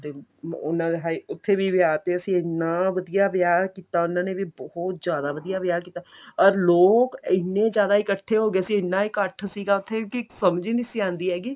ਤੇ ਉਹਨਾ ਉੱਥੇ ਵੀ ਵਿਆਹ ਤੇ ਅਸੀਂ ਇੰਨਾ ਵਧੀਆਂ ਵਿਆਹ ਕੀਤਾ ਉਹਨਾ ਨੇ ਵੀ ਬਹੁਤ ਜਿਆਦਾ ਵਧਿਆ ਵਿਆਹ ਕੀਤਾ ਪਰ ਲੋਕ ਇੰਨੇ ਜਿਆਦਾ ਇੱਕਠੇ ਹੋ ਗਏ ਸੀ ਇੰਨਾ ਇੱਕਠ ਸੀਗਾ ਉੱਥੇ ਕੀ ਸਮਝ ਹੀ ਨਹੀਂ ਸੀ ਆਉਂਦੀ ਹੈਗੀ